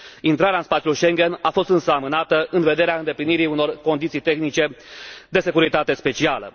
Intrarea în spațiul Schengen a fost însă amânată în vederea îndeplinirii unor condiții tehnice de securitate specială.